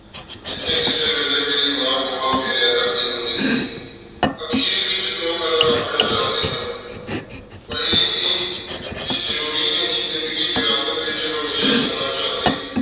ਜਿਥਯ ਕੀਤੀ ਵੇਲੀ ਮੇਰੀ ਮਾਂ ਗੋਹਾ ਫੇਰਯ ਕਰਦੀ ਹੁੰਦੀ ਸੀ ਅਖੀਰ ਵਿਚ ਦੋ ਗੱਲਾਂ ਰਖਣਾ ਚੌਂਦੀ ਹਾਂ ਪਹਲੀ ਇਹ ਕਹ ਜਾਰੋਰੀ ਨਹੀ ਜ਼ਿੰਦਗੀ ਵਿਰਾਸਤ ਵਿਚ ਹਮੇਸ਼ਾ ਸੋਨਾ ਚੰਡੀ